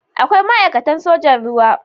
Akwai ma'aikatan sojan ruwa.